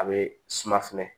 A be suma fɛnɛ